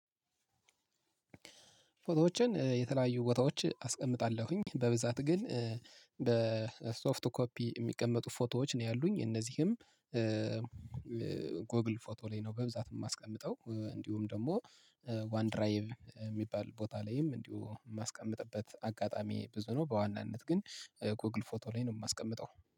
ፎቶዎችን የተለያዩ ቦታዎች አስቀምጣለሁኝ በብዛት ግን በሶፍት ኮፒ የሚቀመጡ ፎቶዎች ነው ያሉኝ እነዚህም ጎግል ፎቶ ላይ ነው በብዛት የማስቀምጠው። እንዲሁም ደግሞ ዋን ድራይቭ የሚባል ቦታ ላይም እንዲሁ የማስቀምጥበት አጋጣሚ ብዙ ነው። በዋናነት ግን ጎግል ፎቶ ላይ ነው የማስቀምጠው።